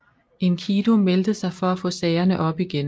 Enkidu meldte sig for at få sagerne op igen